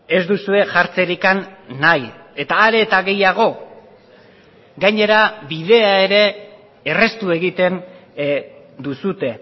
ez duzue jartzerik nahi eta are eta gehiago gainera bidea ere erraztu egiten duzue